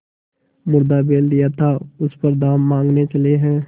मुर्दा बैल दिया था उस पर दाम माँगने चले हैं